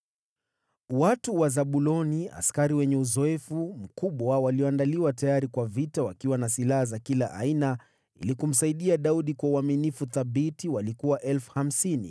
Watu wa Zabuloni, askari wenye uzoefu mkubwa walioandaliwa tayari kwa vita wakiwa na silaha za kila aina, ili kumsaidia Daudi kwa uaminifu thabiti, walikuwa 50,000.